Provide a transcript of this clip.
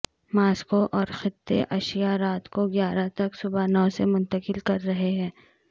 Moscow اور خطے اشیا رات کو گیارہ تک صبح نو سے منتقل کر رہے ہیں